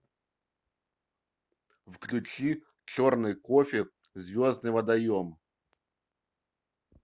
включи черный кофе звездный водоем